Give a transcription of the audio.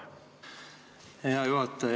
Hea juhataja!